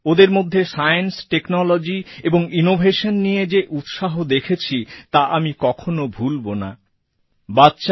ওদের মধ্যে science technology এবং ইনোভেশন নিয়ে যে উৎসাহ দেখেছি তা আমি কখনো ভুলবোনা